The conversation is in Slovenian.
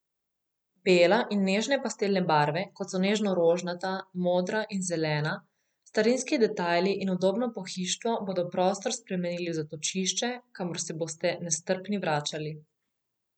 Bela in nežne pastelne barve, kot so nežno rožnata, modra in zelena, starinski detajli in udobno pohištvo bodo prostor spremenili v zatočišče, kamor se boste nestrpni vračali.